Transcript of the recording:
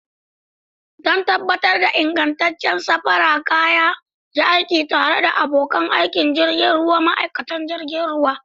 Don tabbatar da ingantaccen sarrafa kaya, yi aiki tare da abokan aikin jirgi da ma'aikatan jirgin ruwa.